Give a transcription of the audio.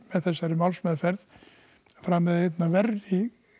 þessari málsmeðferð framið einn af verri